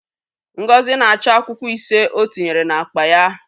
Ngozi na-achọ akwụkwọ ise ọ tinyere n'akpa ya.